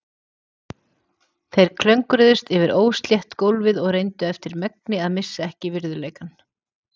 Þeir klöngruðust yfir óslétt gólfið og reyndu eftir megni að missa ekki virðuleikann.